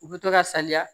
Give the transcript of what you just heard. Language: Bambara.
U bɛ to ka saliya